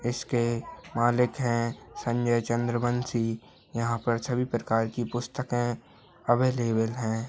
इसके मालिक हैं संजय चंद्रवंशी यहाँ पर सभी प्रकार की पुस्तके अवेलेबल हैं।